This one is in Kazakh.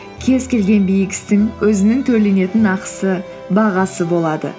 кез келген биік істің өзінің төленетін ақысы бағасы болады